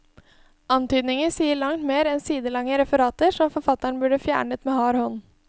Antydninger sier langt mer enn sidelange referater, som forfatteren burde fjernet med hard hånd.